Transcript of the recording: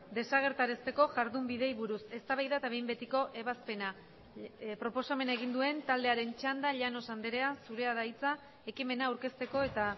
desagerrarazteko jardunbideei buruz eztabaida eta behin betiko ebazpena proposamena egin duen taldearen txanda llanos andrea zurea da hitza ekimena aurkezteko eta